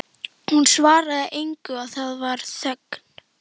Hún svaraði engu og það varð þögn.